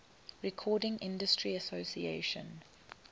recording industry association